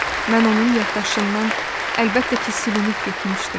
Mən onun yaddaşından əlbəttə ki, silinib getmişdim.